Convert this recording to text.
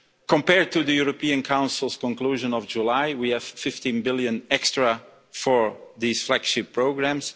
Compared to the European Council's conclusion of July, we have EUR 15 billion extra for these flagship programmes.